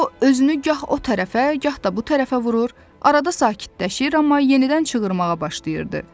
O özünü gah o tərəfə, gah da bu tərəfə vurur, arada sakitləşir, amma yenidən çığırmağa başlayırdı.